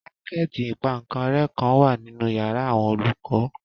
Pákẹ̀tì ìpaǹkanrẹ́ kan wà nínu yàrá àwọn olùkọ́